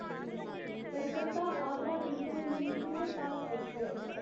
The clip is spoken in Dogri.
Calcutta Agra cantonment superfast express